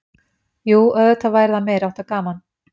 Jú auðvitað væri það meiriháttar gaman.